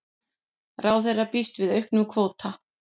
Ráðherra býst við auknum kvóta